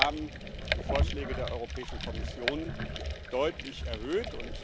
Wir haben die Vorschläge der Europäischen Kommission deutlich erhöht.